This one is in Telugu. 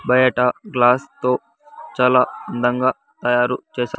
బయట గ్లాస్ తో చాలా అందంగా తయారు చేశా--